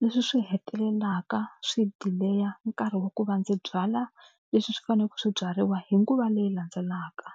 Leswi swi hetelelaka swi delay-a nkarhi wa ku va ndzi byala leswi swi faneleke swi byariwa hi nguva leyi landzelaka.